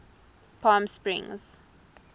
palmsprings